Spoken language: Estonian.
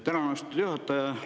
Tänan, austatud juhataja!